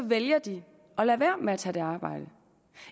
vælger de at lade være med at tage et arbejde